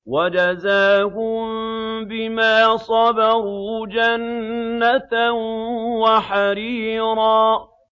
وَجَزَاهُم بِمَا صَبَرُوا جَنَّةً وَحَرِيرًا